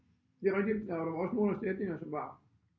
Det er rigtigt og der var også nogle af sætningerne som var